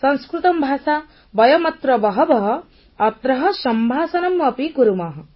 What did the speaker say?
ସଂସ୍କୃତଂ ଭାଷା ବୟମତ୍ର ବହଃ ବହଃ ଅତ୍ରଃ ସମ୍ଭାଷଣମପି କୁର୍ମଃ